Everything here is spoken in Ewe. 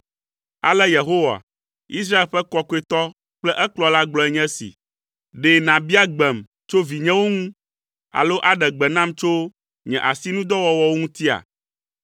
“Ale Yehowa, Israel ƒe Kɔkɔetɔ kple ekplɔla gblɔe nye esi: Ɖe nàbia gbem tso vinyewo ŋu alo aɖe gbe nam tso nye asinudɔwɔwɔwo ŋutia?